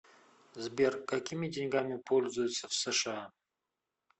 сбер какими деньгами пользуются в сша